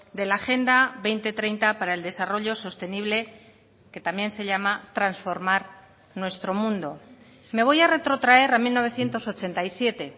de la agenda dos mil treinta para el desarrollo sostenible que también se llama transformar nuestro mundo me voy a retrotraer a mil novecientos ochenta y siete